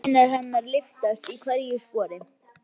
Sé mjaðmir hennar lyftast í hverju spori.